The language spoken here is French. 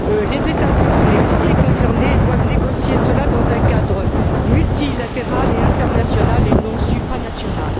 Les États membres sont les premiers concernés et doivent négocier cela dans un cadre multilatéral et international, et non supranational.